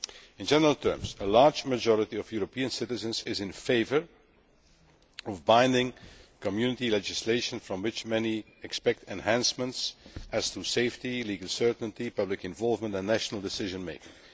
In general terms, a large majority of European citizens is in favour of binding, Community legislation from which many expect enhancements as regards safety, legal certainty, public involvement and national decision making.